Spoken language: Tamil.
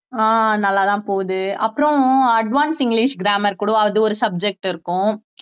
ஆஹ் நல்லாதான் போகுது அப்புறம் advance இங்கிலிஷ் grammar கூட அது ஒரு subject இருக்கும்